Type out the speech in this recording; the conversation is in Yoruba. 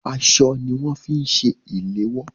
Aṣọ ní wọn fi ń ṣe ìléwọ́.